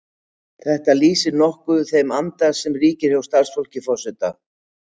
Þetta lýsir kannski nokkuð þeim anda sem ríkir hjá starfsfólki forseta.